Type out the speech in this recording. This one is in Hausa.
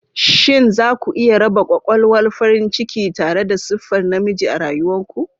Shin za ku iya raba ƙwaƙwalwar farin ciki tare da siffar namiji a rayuwar ku?